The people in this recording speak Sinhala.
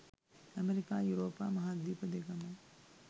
ඇමරිකා යුරෝපා, මහාද්වීප දෙකම